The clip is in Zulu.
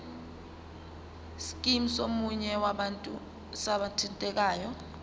scheme somunye wabathintekayo